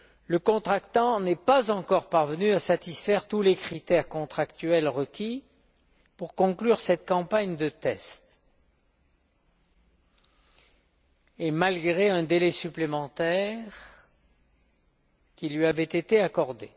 Le contractant n'est pas encore parvenu à satisfaire tous les critères contractuels requis pour conclure cette campagne de tests, malgré un délai supplémentaire qui lui avait été accordé.